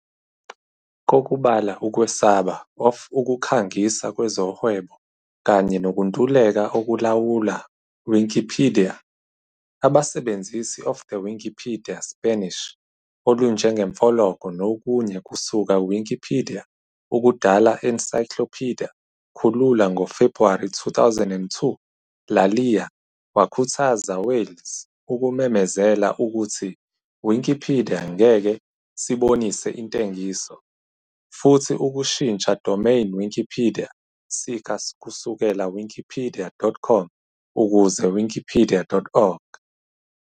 Kokubala ukwesaba of ukukhangisa kwezohwebo kanye nokuntuleka okulawula Wikipedia, abasebenzisi of the Wikipedia Spanish olunjengemfoloko nokunye kusuka Wikipedia ukudala Enciclopedia Khulula ngo February 2002 La liya wakhuthaza Wales ukumemezela ukuthi Wikipedia ngeke sibonise intengiso, futhi ukushintsha domain Wikipedia sika kusukela wikipedia.com ukuze wikipedia.org.